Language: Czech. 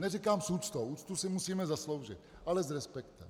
Neříkám s úctou, úctu si musíme zasloužit, ale s respektem.